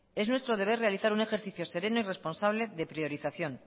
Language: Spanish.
es nuestro deber realizar un ejercicio sereno y responsable de priorización